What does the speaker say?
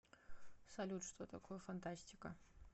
салют что такое фантастика